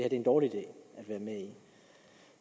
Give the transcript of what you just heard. er en dårlig idé at være med i